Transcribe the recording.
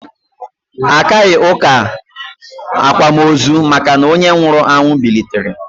Akaghị ụka akwamozu maka na onye nwụrụ bilitere